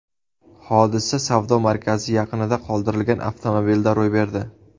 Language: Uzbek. Hodisa savdo markazi yaqinida qoldirilgan avtomobilda ro‘y berdi.